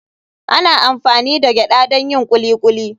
Ana amfani da gyada don yin kuli kuli.